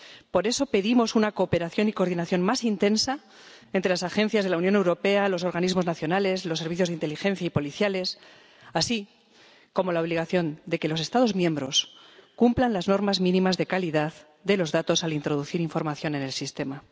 Por eso pedimos una cooperación y coordinación más intensa entre las agencias de la Unión Europea, los organismos nacionales, los servicios de inteligencia y policiales, así como la obligación de que los Estados miembros cumplan las normas mínimas de calidad de los datos al introducir información en el sistema.